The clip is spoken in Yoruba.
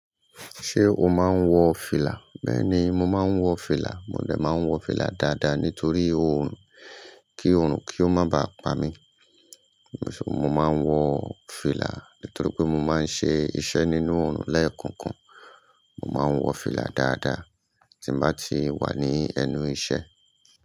Ṣé o máa ń wọ fìlà? Bẹ́ẹ̀ni, mo máa ń wọ fìlà. Mo de máa ń wọ fìlà dáadáa nítorí oòrùn, kí oòrùn kí ó má ba pa mí. Mo máa ń wọ fìlà nítorí pé mo máa ń ṣe iṣẹ́ nínú oòrùn lẹ́ẹ̀kokan. Mo máa ń wọ fìlà dáadáa tí ń bá ti wà ní ẹnu iṣẹ́.